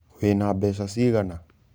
Wĩna mbeca cigana?